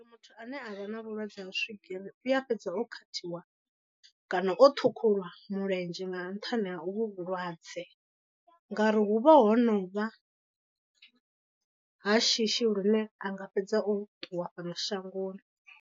Muthu ane a vha na vhulwadze ha swigiri u a fhedza o khathiwa kana o ṱhukhuwa mulenzhe nga nṱhani ha u vhu vhulwadze. Ngauri hu vha ho no vha ha shishi lune anga fhedza o ṱuwa fhano shangoni.